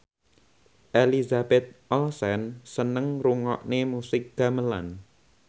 Elizabeth Olsen seneng ngrungokne musik gamelan